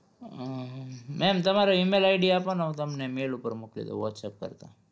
અમ ma'am તમારુ email ID આપોને હું તમને mail ઉપર મોકલી દવ whatsapp કરતા